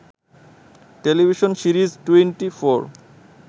television series twenty four